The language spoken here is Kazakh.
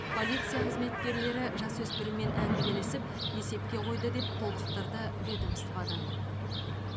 полиция қызметкерлері жасөспіріммен әңгімелесіп есепке қойды деп толықтырды ведомстводан